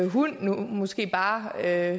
hund måske bare er